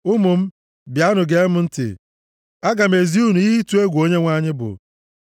Ụmụ m, bịanụ gee m ntị; aga m ezi unu ihe ịtụ egwu Onyenwe anyị bụ.